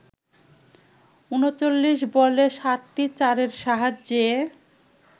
৩৯ বলে ৭টি চারের সাহায্যে